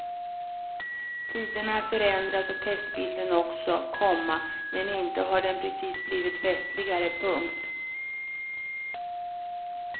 Tiderna förändras och testbilden också, komma men inte har den precis blivit festligare. punkt